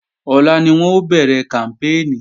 Ọ̀la ni wọn ó bẹ̀rẹ̀ kàmpéènì